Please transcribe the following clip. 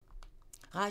Radio 4